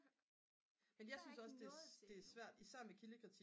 men jeg synes også det er svært især med kildekritik